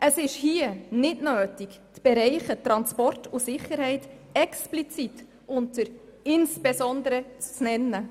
Es ist hier nicht nötig, die Bereiche Transport und Sicherheit explizit unter «insbesondere» zu nennen.